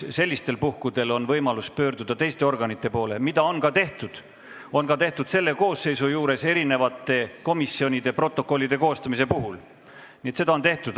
Sellistel puhkudel on võimalus pöörduda teiste organite poole – seda on ka tehtud, on tehtud ka selle koosseisu ajal erinevate komisjonide protokollide koostamisega seoses.